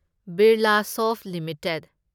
Birlasoft limited